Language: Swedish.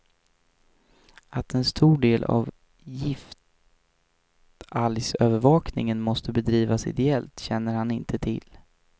Att en stor del av giftalgsövervakningen måste bedrivas ideellt känner han inte till.